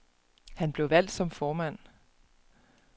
Han blev valgt som formand.